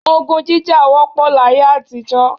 Ogun jíjà wọ́pọ̀ láyé àtijọ́